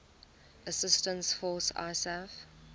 assistance force isaf